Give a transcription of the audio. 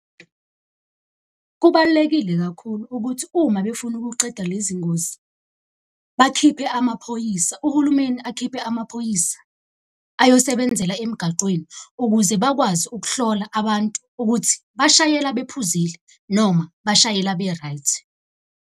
Kubalulekile kakhulu ukuthi uma befuna ukuqeda lezi ngozi bakhiphe amaphoyisa, uhulumeni akhiphe amaphoyisa ayosebenzela emgaqweni. Ukuze bakwazi ukuhlola abantu ukuthi bashayela bephuzile noma bashayela be-right.